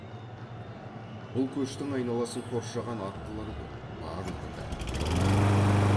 бұл көштің айналасын қоршаған аттылар көп барлығы да әйелдер